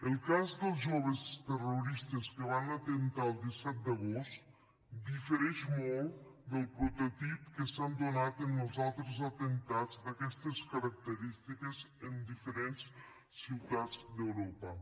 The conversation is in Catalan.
el cas dels joves terroristes que van atemptar el disset d’agost difereix molt del prototip que s’ha donat en els altres atemptats d’aquestes característiques en diferents ciutats d’europa